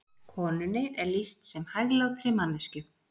Konunni er lýst sem hæglátri manneskju